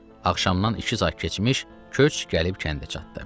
Axşamdan iki saat keçmiş köç gəlib kəndə çatdı.